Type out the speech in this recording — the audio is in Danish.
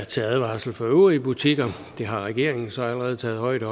til advarsel for øvrige butikker det har regeringen så allerede taget højde